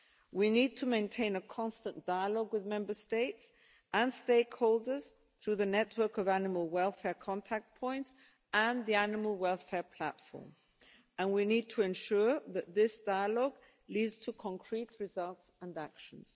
We need to maintain a constant dialogue with Member States and stakeholders through the network of animal welfare contact points and the animal welfare platform, and we need to ensure that this dialogue leads to concrete results and actions.